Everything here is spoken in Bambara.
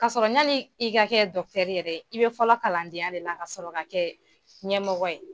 K'a sɔrɔ yani i ka kɛ dɔkitɛri yɛrɛ dɛ , i bɛ fɔlɔ kalandenya de la ka sɔrɔ ka kɛ ɲɛmɔgɔ ye.